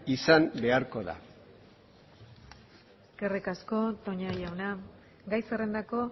izan beharko da eskerrik asko toña jauna gai zerrendako